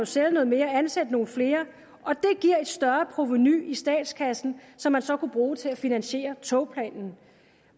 sælge noget mere og ansætte nogle flere og det giver et større provenu i statskassen som man så kunne bruge til at finansiere togplanen